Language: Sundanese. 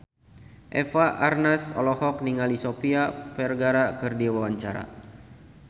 Eva Arnaz olohok ningali Sofia Vergara keur diwawancara